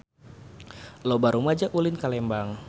Loba rumaja ulin ka Lembang